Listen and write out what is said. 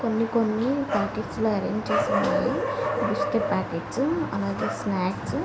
కొన్ని కొన్ని పార్టీస్ లో ఆరెంజ్ చేసారు. బిస్కెట్ పాకెట్స్ అలాగే స్నాక్స్ .